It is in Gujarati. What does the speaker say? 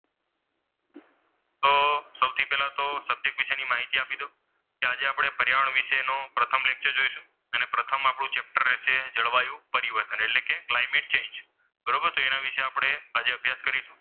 તો સૌથી પહેલા તો subject વિશેની માહિતી આપી દઉં. તો આજે આપણે પર્યાવરણ વિશેનું પ્રથમ lecture જોઈશું. અને પ્રથમ આપણું lecture રહેશે જળવાયું પરિવર્તન એટલે કે ક્લાયમેટ ચેન્જ. બરોબર તો એના વિશે આજે આપણે અભ્યાસ કરીશું.